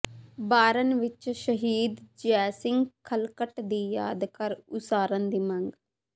ਬਾਰਨ ਵਿੱਚ ਸ਼ਹੀਦ ਜੈ ਸਿੰਘ ਖਲਕਟ ਦੀ ਯਾਦਗਾਰ ਉਸਾਰਨ ਦੀ ਮੰਗ